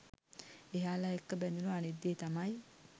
එයාල එක්ක බැදුනු අනිත් දේ තමයි